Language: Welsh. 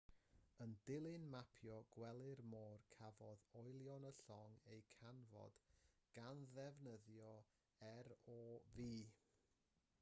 yn dilyn mapio gwely'r môr cafodd olion y llong eu canfod gan ddefnyddio rov